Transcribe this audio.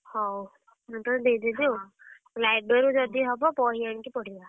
ହଉ, ମୁଁ ତତେ ଦେଇ ଦେବି ଆଉ library ରୁ ଯଦି ହବ ବହି ଆଣିକି ପଢିବା।